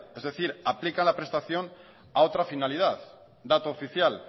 es decir aplican la prestación a otra finalidad dato oficial